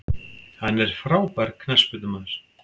Hann er frábær knattspyrnumaður.